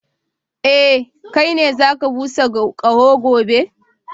Eh, kai ne za ka busa kaho gobe.